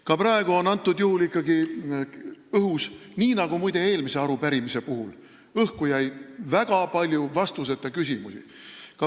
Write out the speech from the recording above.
Ka praegu jäi ikkagi õhku – nii nagu muide ka eelmise arupärimise puhul – väga palju vastuseta küsimusi.